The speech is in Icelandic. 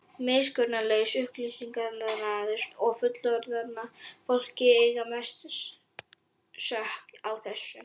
Miskunnarlaus auglýsingaiðnaður og fullorðna fólkið eiga mesta sök á þessu.